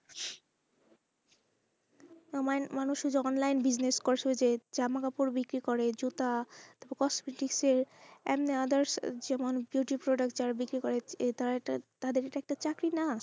মানুষই online business জামা কাপড় বিক্রি করে জুতা তারপর cosmetic এর অন্য others যে অনেক beauty product যারা বিক্রি করে তাদের তো তাদের এটা চাকরি না,